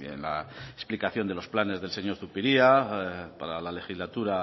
en la explicación de los planes del señor zupiria para la legislatura